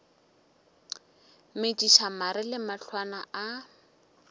metšiša mare le mahlwana a